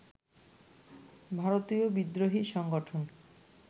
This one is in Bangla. ভারতীয় বিদ্রোহী সংগঠন